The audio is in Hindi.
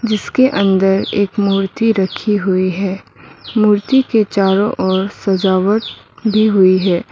जिसके अंदर एक मूर्ति रखी हुई है मूर्ति के चारों ओर सजावट भी हुई है।